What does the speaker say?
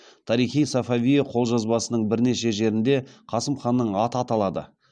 тарих и сафавие қолжазбасының бірнеше жерінде қасым ханның аты аталады